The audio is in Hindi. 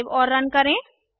सेव और रन करें